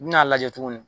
N bi n'a lajɛ tuguni